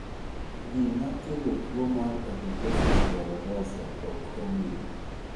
Gima kelo tuwo mar adiposis dolorosa ok ong'ere.